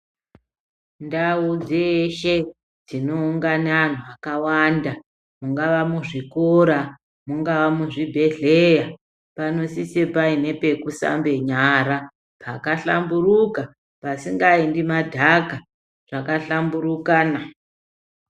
Ndau dzeshe dzinoungana anhu akawanda. Mungava muzvikora, mungava muzvibhedhleya panosise paine pekushambe nyara pakahlamburuka pasingaendi madhaka pakahlamburukana.